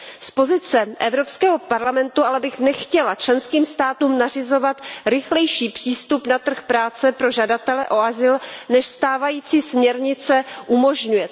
Z pozice Evropského parlamentu bych ale nechtěla členským státům nařizovat rychlejší přístup na trh práce pro žadatele o azyl, než stávající směrnice umožňuje.